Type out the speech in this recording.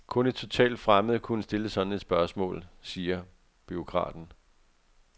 Kun en totalt fremmed kunne stille sådan et spørgsmål, siger bureaukraten.